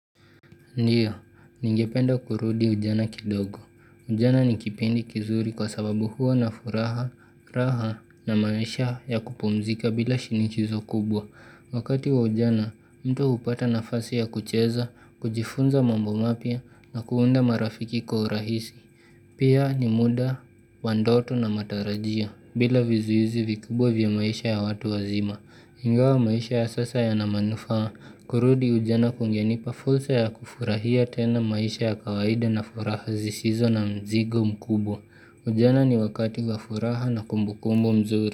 Ndiyo, ningependa kurudi ujana kidogo. Ujana ni kipindi kizuri kwa sababu huwa na furaha, raha na maisha ya kupumzika bila shinikizo kubwa. Wakati wa ujana, mtu upata nafasi ya kucheza, kujifunza mambo mapya na kuunda marafiki kwa urahisi. Pia ni muda, wa ndoto na matarajio, bila vizuizi vikubwa vya maisha ya watu wazima. Ingawa maisha ya sasa yana manufaa, kurudi ujana kungenipa fursa ya kufurahia tena maisha ya kawaida na furaha sisizo na mzigo mkubwa. Ujana ni wakati wa furaha na kumbukumbu mzuri.